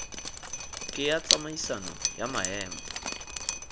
ke ya tsamaisano ya maemo